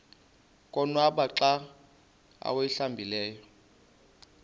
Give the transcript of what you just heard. konwaba xa awuhlambileyo